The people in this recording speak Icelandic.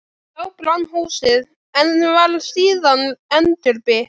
Þá brann húsið, en var síðan endurbyggt.